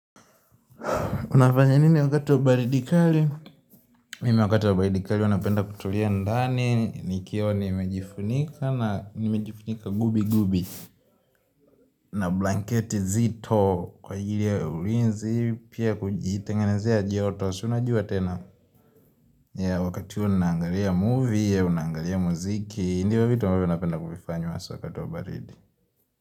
Unafanya nini wakati wa baridi kali? Mimi wakati wa baridi kali huanapenda kutulia ndani, nikiwa nimejifunika na nimejifunika gubi gubi. Na blanket zito kwa ajili ya ulinzi, pia kujitengenezea joto, si unajua tena? Ya wakati unangalia movie, unangalia muziki, ndio vitu ambavyo napenda kuvifanya wakati wa baridi.